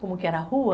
Como que era a rua?